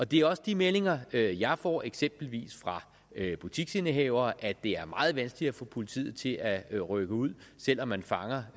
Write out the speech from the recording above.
det er også de meldinger jeg jeg får eksempelvis fra butiksindehavere altså at det er meget vanskeligt at få politiet til at rykke ud selv om man fanger